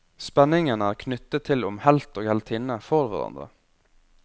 Spenningen er knyttet til om helt og heltinne får hverandre.